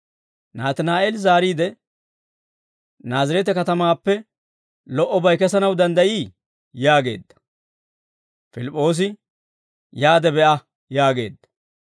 Naatinaa'eeli zaariide, «Naazireete katamaappe lo"obay kesanaw danddayii?» yaageedda. Pilip'oosi, «Yaade be'a» yaageedda.